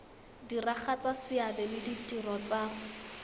diragatsa seabe le ditiro tsa